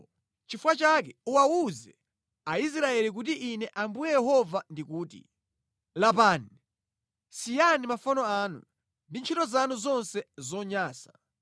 “Nʼchifukwa chake uwawuze Aisraeli kuti Ine Ambuye Yehova ndikuti: Lapani! Siyani mafano anu ndi ntchito zanu zonse zonyansa!